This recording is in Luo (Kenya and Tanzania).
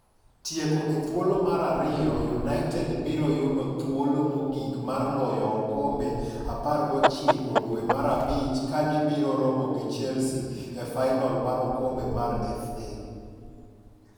Tieko e thuolo mar ariyoi' United biro yudo thuolo mogik mar loyo okombe 19 dwe mar abichkagi biro romo gi Chelsea e fainol mar oKombe mar FA.